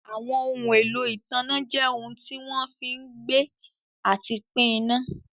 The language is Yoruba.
Àwọn ohun èlò ìtanná jẹ́ ohun tí wọ́n fí ń gbé àti pín iná.